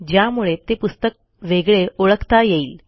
ज्यामुळे ते पुस्तक वेगळे ओळखता येईल